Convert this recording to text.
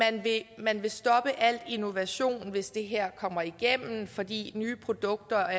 at man vil stoppe al innovation hvis det her kommer igennem fordi nye produkter